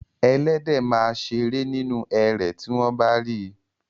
Ẹléde máa a ṣeré nínú erè tí wọ́n bá rí i.